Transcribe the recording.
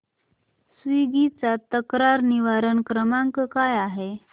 Swiggy चा तक्रार निवारण क्रमांक काय आहे